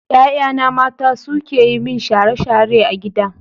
Ƴaƴana mata suke yi min share-share a gida.